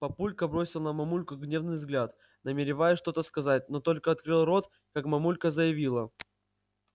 папулька бросил на мамульку гневный взгляд намереваясь что-то сказать но только открыл рот как мамулька заявила